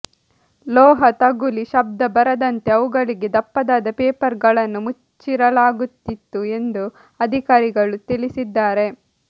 ಲೋಹ ತಗುಲಿ ಶಬ್ದ ಬರದಂತೆ ಅವುಗಳಿಗೆ ದಪ್ಪದಾದ ಪೇಪರ್ ಗಳನ್ನು ಮುಚ್ಚಿರಲಾಗುತ್ತಿತ್ತು ಎಂದು ಅಧಿಕಾರಿಗಳು ತಿಳಿಸಿದ್ದಾರೆ